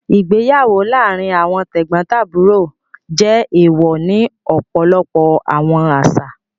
Igbeyawo laarin awọn tegbontaburo jẹ ééwọ́ ni ọpọlọpọ awọn aṣa.